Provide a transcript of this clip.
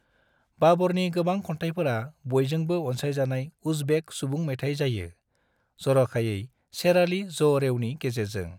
बाबरनि गोबां खन्थायफोरा बयजोंबो अनसायजानाय उज़्बेक सुबुं मेथाइ जायो, जरखायै शेराली जो'रेवनि गेजेरजों ।